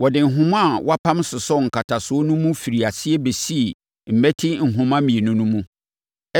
Wɔde nhoma a wɔapam sosɔɔ nkataseɛ no mu firi aseɛ bɛsii mmati nhoma mmienu no mu.